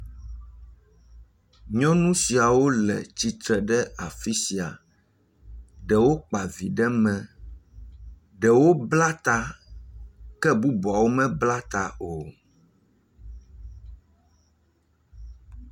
Nyɔnu siawo le tsitre ɖe afi sia, ɖewo kpavi ɖe mee, ɖewo bla ta ke bubuawo me bla ta o.